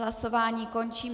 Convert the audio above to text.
Hlasování končím.